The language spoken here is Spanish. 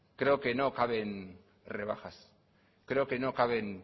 creo que no caben rebajas creo que no caben